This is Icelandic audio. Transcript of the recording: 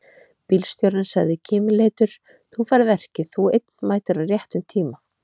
Bílstjórinn sagði kímileitur: Þú færð verkið, þú einn mætir á réttum tíma!